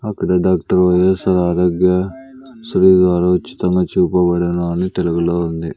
అక్కడ doctor Y S R Aarogya Sri ఆరోచితంగా చూపబడును అని తెలుగులో ఉంది.